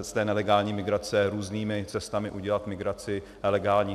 z té nelegální migrace různými cestami udělat migraci legální.